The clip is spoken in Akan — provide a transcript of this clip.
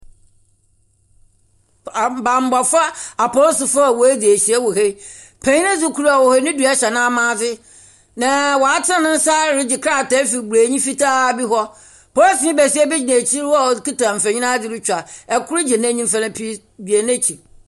Abanbɔfoɔ, apolisifoɔ a wodzi ahyiam wɔ ha , panyin dzi kor de a ɔwɔ hee ne dua hyɛ na maadze, na wa tene nsa regye krataa afi bronyi fitaa bi hɔ. Polisini besia gyina ekyir hɔ a okita mfonyin adzi retwa. Ɛkor gyina ne nifa ne beberee gyina n'kyir.